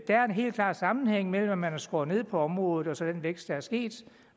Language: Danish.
der er en helt klar sammenhæng mellem at man har skåret ned på området og så den vækst der er sket